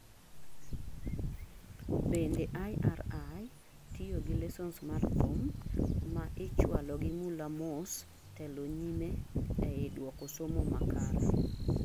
bende IRI - tiyo gi lessons mar thum, ma ichualo gi mula mos telo nyime ei duoko somo makare?